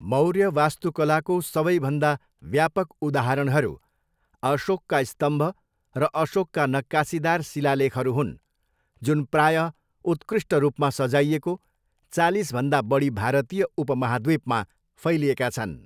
मौर्य वास्तुकलाको सबैभन्दा व्यापक उदाहरणहरू अशोकका स्तम्भ र अशोकका नक्कासीदार शिलालेखहरू हुन्, जुन प्रायः उत्कृष्ट रूपमा सजाइएको, चालिसभन्दा बढी भारतीय उपमहाद्वीपमा फैलिएका छन्।